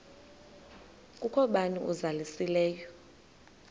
kukho bani uzalusileyo